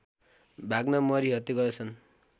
भाग्न मरिहत्ते गर्दछन्